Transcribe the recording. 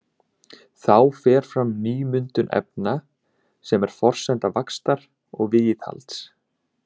Þá fer fram nýmyndun efna sem er forsenda vaxtar og viðhalds.